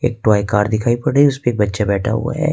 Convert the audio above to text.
Toy car दिखाई पड़ रही है उसपे एक बच्चा बैठा हुआ है।